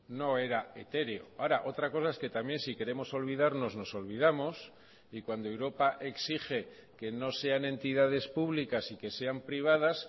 no era etéreo ahora otra cosa es que también si queremos olvidarnos nos olvidamos y cuando europa exige que no sean entidades públicas y que sean privadas